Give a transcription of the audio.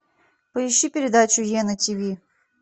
поищи передачу е на тиви